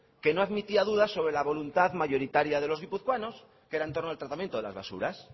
que no admitía duda sobre la voluntad mayoritaria de los guipuzcoanos que era en torno al tratamiento de las basuras